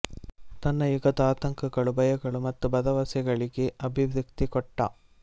ತನ್ನ ಯುಗದ ಆತಂಕಗಳು ಭಯಗಳು ಮತ್ತು ಭರವಸೆಗಳಿಗೆ ಅಭಿವ್ಯಕ್ತಿ ಕೊಟ್ಟ